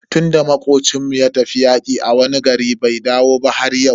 Tunda makocin mu ya tafi yaƙi a wani gari bai dawo ba har yau.